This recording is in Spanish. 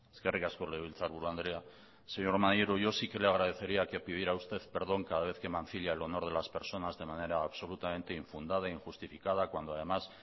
eskerrik asko legebiltzarburu andrea señor maneiro yo sí que le agradecería que pidiera usted perdón cada vez que mancilla el honor de las personas de manera absolutamente infundada injustificada cuando además